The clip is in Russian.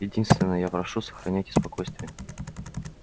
единственно я прошу сохраняйте спокойствие